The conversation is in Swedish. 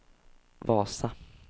Vasa